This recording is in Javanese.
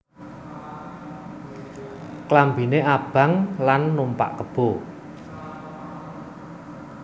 Klambiné abang lan numpak kebo